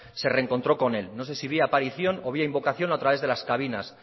se reencontró con él no sé si vía aparición o vía invocación o a través de las cabinas